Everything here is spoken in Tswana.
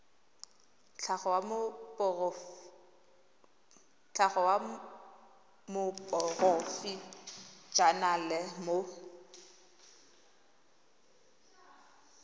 tlhago wa moporofe enale mo